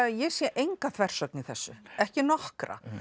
ég sé enga þversögn í þessu ekki nokkra